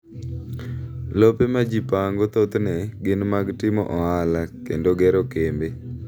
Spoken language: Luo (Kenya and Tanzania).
Lope ma ji pango thothne gin mag timo ohala kod gero kembe.